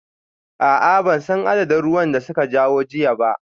A'a ban san adadin ruwan da suka kawo jiya ba